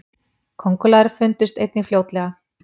köngulær fundust einnig fljótlega